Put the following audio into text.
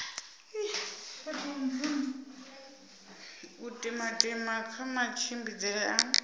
u timatima kha matshimbidzele a